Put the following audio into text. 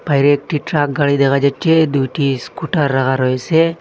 বাইরে একটি ট্রাক গাড়ি দেখা যাচ্ছে দুইটি স্কুটার রাহা রয়েসে।